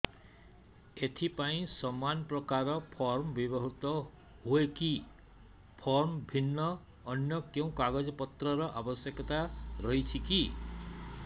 ଏଥିପାଇଁ ସମାନପ୍ରକାର ଫର୍ମ ବ୍ୟବହୃତ ହୂଏକି ଫର୍ମ ଭିନ୍ନ ଅନ୍ୟ କେଉଁ କାଗଜପତ୍ରର ଆବଶ୍ୟକତା ରହିଛିକି